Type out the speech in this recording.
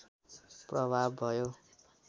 प्रभाव भयो